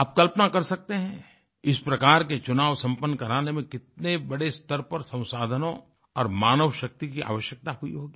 आप कल्पना कर सकते हैं इस प्रकार के चुनाव संपन्न कराने में कितने बड़े स्तर पर संसाधनों और मानवशक्ति की आवश्यकता हुई होगी